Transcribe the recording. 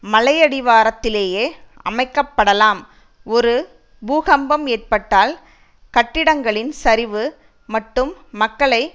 மலையடிவாரத்திலேயே அமைக்கப்படலாம் ஒரு பூகம்பம் ஏற்பட்டால் கட்டிடங்களின் சரிவு மட்டும் மக்களை